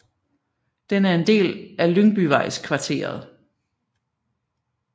Den er en del af Lyngbyvejskvarteret